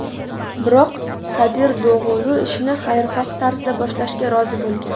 Biroq Kadir Dog‘ulu ishni xayrixoh tarzda boshlashga rozi bo‘lgan.